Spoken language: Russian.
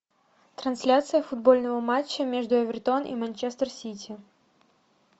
трансляция футбольного матча между эвертон и манчестер сити